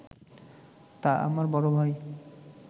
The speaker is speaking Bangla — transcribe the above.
তা আমার বড় ভাই